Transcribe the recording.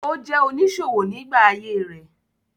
Ó jẹ́ oníṣòwò nígbà ayé rẹ̀.